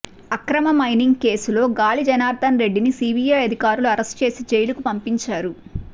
అక్రమ మైనింగ్ కేసులో గాలి జనార్దన్ రెడ్డిని సీబీఐ అధికారులు అరెస్టు చేసి జైలుకు పంపించారు